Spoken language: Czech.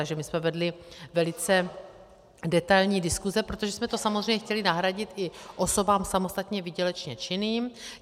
Takže my jsme vedli velice detailní diskuse, protože jsme to samozřejmě chtěli nahradit i osobám samostatně výdělečně činným.